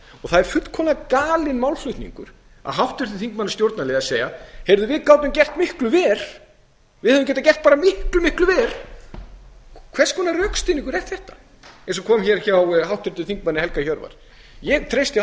og það er fullkomlega galinn málflutningur af háttvirtum þingmanni stjórnarliða að segja heyrðu við gátum gert miklu verr við hefðum getað gert bara miklu miklu verr hvers konar rökstuðningur er þetta eins og kom fram hjá háttvirtum þingmanni helga hjörvar ég treysti